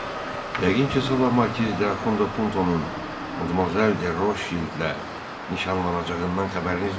Yəqin ki, sabah Markiz de Axund Puntonun Madmazel de Roşvildlə nişanlanacağından xəbəriniz var?